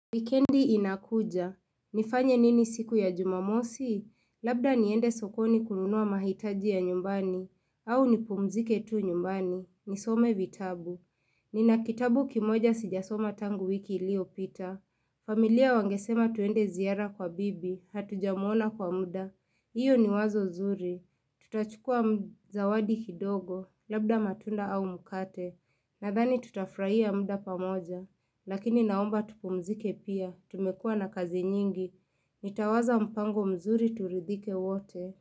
Wikendi inakuja. Nifanye nini siku ya jumamosi? Labda niende sokoni kununua mahitaji ya nyumbani. Au nipumzike tu nyumbani. Nisome vitabu. Nina kitabu kimoja sijasoma tangu wiki iliyopita. Familia wangesema tuende ziara kwa bibi. Hatujamwona kwa muda. Hiyo ni wazo nzuri. Tutachukua zawadi kidogo, labda matunda au mkate Nadhani tutafurahia muda pamoja Lakini naomba tupumzike pia, tumekuwa na kazi nyingi Nitawaza mpango mzuri turidhike wote.